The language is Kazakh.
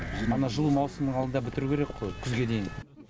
ана жыл маусымының алдында бітіру керек қо күзге дейін